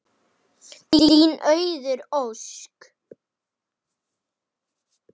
Viðtöl verða við gamla sjóara.